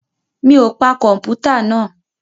Mi ò pa kọ̀mpútà náà?